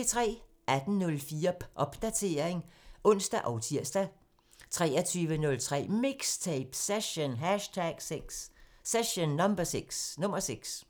18:04: Popdatering (ons og tir) 23:03: MIXTAPE – Session #6